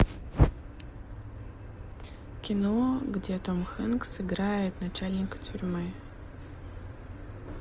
кино где том хэнкс играет начальника тюрьмы